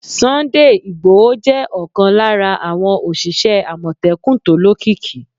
Sunday Igboho jẹ́ ọ̀kan lára àwọn òṣìṣẹ́ Àmọ̀tẹ́kùn tó lókìkí.